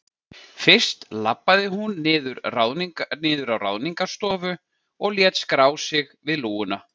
Fyrst labbaði hún niður á Ráðningarstofu og lét skrá sig við lúguna.